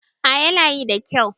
A yana yi da kyau